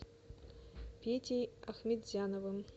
петей ахметзяновым